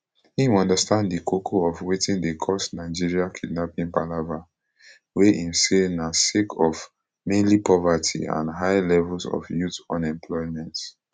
im understand di koko of wetin dey cause nigeria kidnapping palava wey im say na sake of mainly poverty and high levels of youth unemployment